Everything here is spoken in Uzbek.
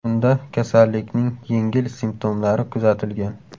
Unda kasallikning yengil simptomlari kuzatilgan .